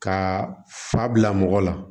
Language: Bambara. Ka fa bila mɔgɔ la